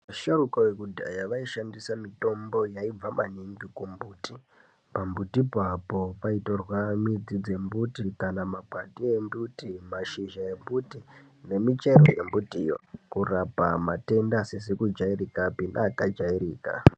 Vasharuka vekudhaya vaishandisa mitombo yaibva maningi kumbuti. Pambutipo apo paitorwa midzi dzembuti, kana makwati embuti, mashizha embuti nemichero yembuti yoo kurapa matenda asizi kujairika pi neaka jairika.